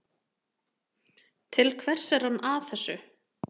Til hvers er hann að þessu?